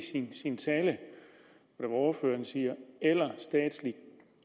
sin tale ordføreren siger eller statsligt